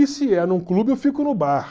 E se é num clube, eu fico no bar.